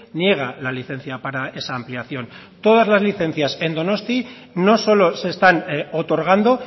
niega la licencia para esa ampliación todas las licencias en donostia no solo se están otorgando